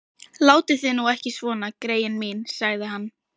Látið þið nú ekki svona, greyin mín sagði hann.